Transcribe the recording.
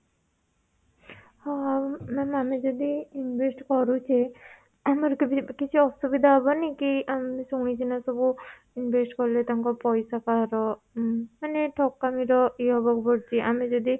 ହଉ ma'am ଆମେ ଯଦି invest କରୁଛେ ଆମର କେବେ କିଛି ଅସୁବିଧା ହବନି କି ଆମେ ଶୁଣିଛୁ ନା ସବୁ invest କଲେ ତାଙ୍କ ପଇସା କାହାର ମାନେ ଠକାମୀ ର ଇଏ ହବାକୁ ପଡୁଛି ଆମେ ଯଦି